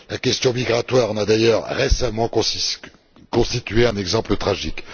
La question migratoire en a d'ailleurs récemment constitué un exemple tragique.